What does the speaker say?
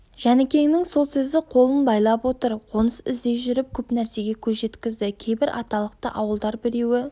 жәнікеңнің сол сөзі қолын байлап отыр қоныс іздей жүріп көп нәрсеге көз жеткізді кейбір аталықты ауылдар-біреуі